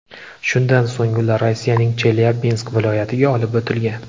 Shundan so‘ng ular Rossiyaning Chelyabinsk viloyatiga olib o‘tilgan.